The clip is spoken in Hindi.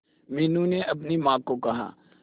मीनू ने अपनी मां को कहा